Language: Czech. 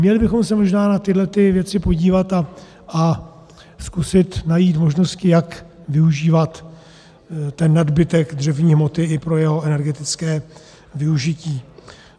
Měli bychom se možná na tyto věci podívat a zkusit najít možnosti, jak využívat ten nadbytek dřevní hmoty i pro jeho energetické využití.